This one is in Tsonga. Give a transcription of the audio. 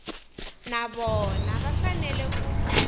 na vona va fanele ku